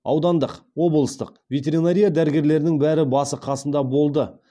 аудандық облыстық ветеринария дәрігерлерінің бәрі басы қасында болды